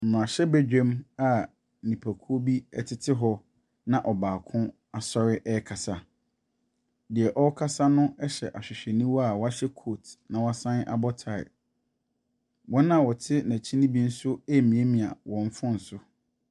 Mmmarahyɛbadwam a nipakuo bi tete hɔ na ɔbaako asɔre rekasa. Deɛ ɔrekasa no hyɛ ahwehwɛniwa a wahyɛ coat, na wasane abɔ tie. Wɔn a wɔte n'akyi no bi nso remiamia wɔn phone so.